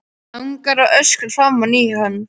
Langar að öskra framan í hann.